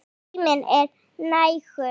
Og tíminn er nægur.